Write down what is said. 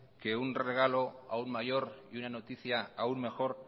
que un regalo aún mayor y una noticia aún mejor